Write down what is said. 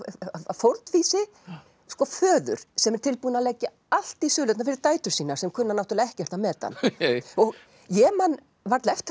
fórnfýsi föður sem er tilbúinn að leggja allt í sölurnar fyrir dætur sínar sem kunna náttúrulega ekkert að meta hann ég man varla eftir